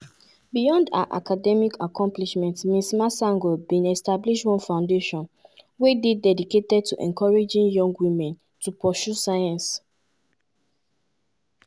beyond her academic accomplishments ms masango bin establish one foundation wey dey dedicated to encouraging young women to pursue science.